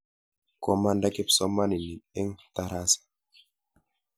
Komanda kipsomaninik eng' tarasa.